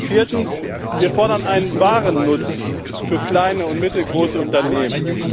Viertens fordern wir einen wahren Nutzen für kleine und mittelgroße Unternehmen.